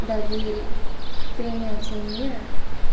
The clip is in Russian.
доверие принятие мира